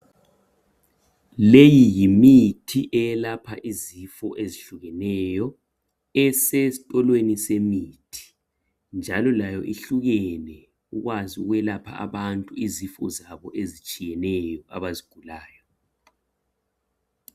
Leyi yimithi eyelapha izifo ezihlukeneyo esesitolweni semithi njalo layo ihlukene ukwazi ukwelapha abantu izifo zabo ezitshiyeneyo abazigulayo.